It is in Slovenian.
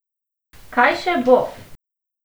Kaj še bo!